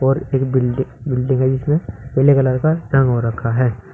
और एक building building है जिसपे पीले कलर का रंग हो रखा है।